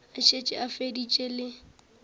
a šetše a feditše le